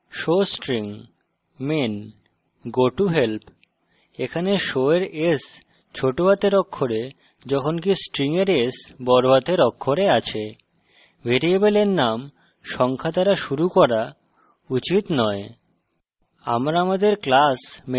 উদাহরণস্বরূপ: showstring main gotohelp এখানে show এর s বড়হাতের অক্ষরে যখনকি string এর s ছোট হাতের অক্ষরে আছে ভ্যারিয়েবলের নাম সংখ্যা দ্বারা শুরু করা উচিত নয়